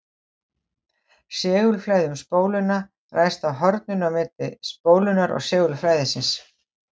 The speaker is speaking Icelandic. segulflæði um spóluna ræðst af horninu á milli spólunnar og segulflæðisins